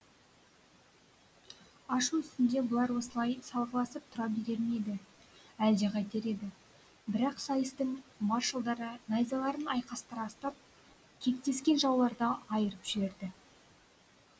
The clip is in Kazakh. ашу үстінде бұлар осылай салғыласып тұра берер ме еді әлде қайтер еді бірақ сайыстың маршалдары найзаларын айқастыра ұстап кектескен жауларды айырып жіберді